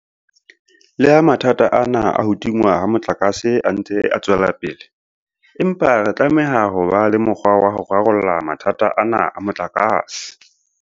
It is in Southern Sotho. Leha mathata ana a ho tingwa ha motlakase a ntse a tswela pele, empa re tlameha ho ba le mokgwa wa ho rarolla mathata ana a motlakase.